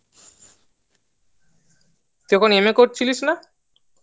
তুই এখন M.A করছিলিস না